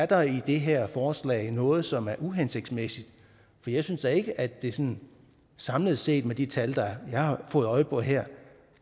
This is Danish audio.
der i det her forslag er noget som er uhensigtsmæssigt for jeg synes da ikke at det sådan samlet set med de tal jeg har fået øje på her